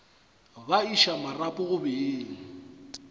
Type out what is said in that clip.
ba iša marapo go beng